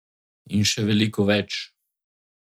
In še veliko več.